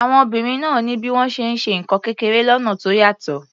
Àwọn obìnrin náà ní bí wọ́n ṣe ń ṣe nǹkan kékeré lọ́nà tó yàtọ̀.